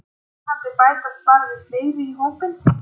Vonandi bætast bara fleiri í hópinn